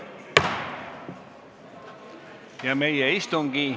Meie istungi päevakord on ammendatud, istung lõppenud.